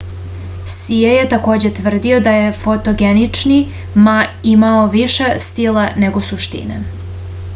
sije je takođe tvrdio da je fotogenični ma imao više stila nego suštine